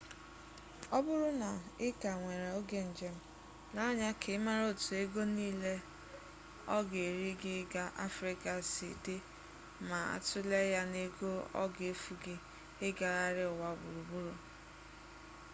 ọ bụrụ na ị ka nwere oge njem lee anya ka ị mara otu ego niile ọ ga-eri gị ịga afrịka sị dị ma a tulee ya na ego ọ ga-efu gị ịgagharị ụwa gburugburu